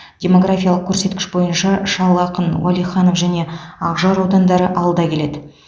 демографиялық көрсеткіш бойынша шал ақын уәлиханов және ақжар аудандары алда келеді